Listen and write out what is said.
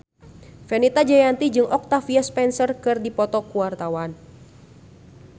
Fenita Jayanti jeung Octavia Spencer keur dipoto ku wartawan